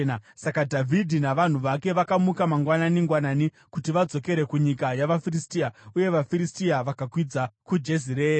Saka Dhavhidhi navanhu vake vakamuka mangwanani-ngwanani kuti vadzokere kunyika yavaFiristia, uye vaFiristia vakakwidza kuJezireeri.